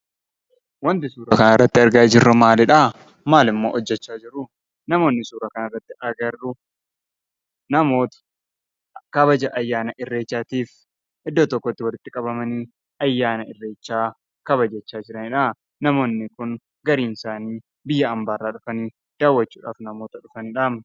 Wanti suuraa kanarratti argaa jirru maalidhaa? Maalimmoo hojjachaa jiruu? Namoonni suuraa kanarratti arginu namoota kabaja ayyaana irreechaatiif iddoo tokkotti walitti qabamanii ayyaana irreechaa kabajachaa jiraniidha. Namoonni kun gariin isaanii biyya hambaa irraa dhufanii daawwachuudhaaf namoota dhufanidha.